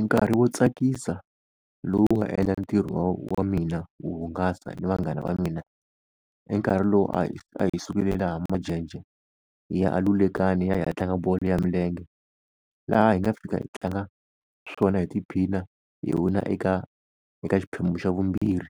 Nkarhi wo tsakisa lowu wu nga endla ntirho wa wa mina wo hungasa ni vanghana va mina, i nkarhi lowu a hi a hi sukile laha Majenjhe hi ya a Lulekani hi ya hi ya tlanga bolo ya milenge. Laha hi nga fika hi tlanga swona hi tiphina hi wina eka, eka xiphemu xa vumbirhi